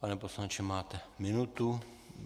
Pane poslanče, máte minutu.